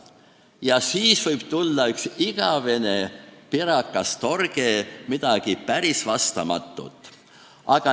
Ja siis võib tulla üks igavene pirakas torge, midagi päris vastamatut.